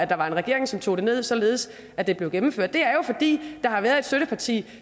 der var en regering som tog det ned i salen således at det blev gennemført det er jo fordi der har været et støtteparti